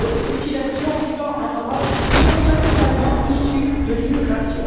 Les victimes des mutilations vivant en Europe sont principalement issues de l'immigration